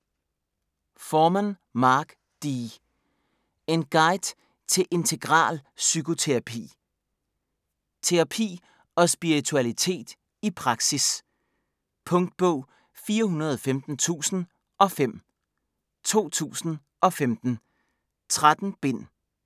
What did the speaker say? Forman, Mark D.: En guide til integral psykoterapi Terapi og spiritualitet i praksis. Punktbog 415005 2015. 13 bind.